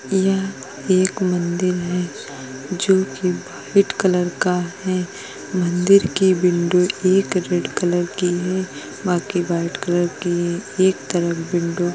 यह एक मंदिर है जोकि व्हाइट कलर का है। मंदिर के विंडो एक रेड कलर की है बाकि व्हाइट कलर के एक तरफ विंडो --